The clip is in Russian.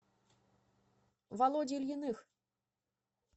володе ильиных